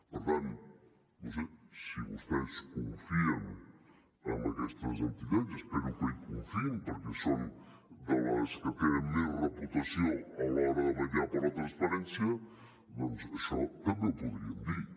per tant no ho sé si vostès confien en aquestes entitats i espero que hi confiïn perquè són de les que tenen més reputació a l’hora de vetllar per la transparència doncs això també ho podrien dir